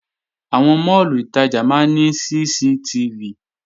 Àwọn máàlù ìtajà máa ní CCTV